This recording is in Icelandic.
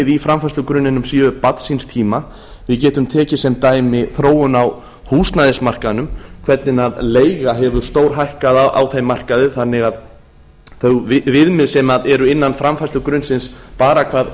í framfærslugrunninum sé barn síns tíma við getum tekið sem dæmi þróun á húsnæðismarkaðnum hvernig leiga hefur stórhækkað á þeim markaði þannig að þau viðmið sem eru innan framfærslugrunnsins bara hvað